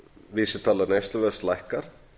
vísitala neysluverðs lækkar